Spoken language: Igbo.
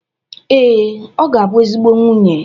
Ee, ọ ga-abụ ezigbo nwunye